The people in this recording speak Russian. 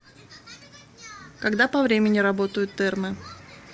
когда по времени работают термы